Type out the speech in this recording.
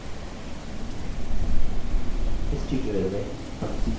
इस tutorial में हम सीखेंगे किः